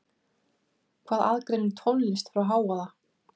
Hvað aðgreinir tónlist frá hávaða?